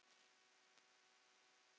Unnum við ekki?